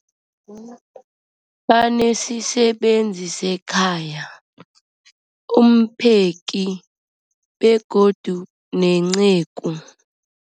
Banesisebenzi sekhaya, umpheki, begodu nenceku.